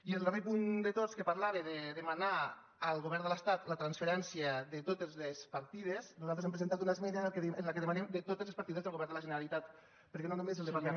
i al darrer punt de tots que parlava de demanar al govern de l’estat la transferència de totes les partides nosaltres hem presentat una esmena en què demanem de totes les partides del govern de la generalitat perquè no només el departament